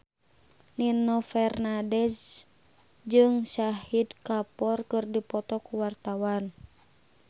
Nino Fernandez jeung Shahid Kapoor keur dipoto ku wartawan